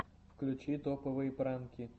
включи топовые пранки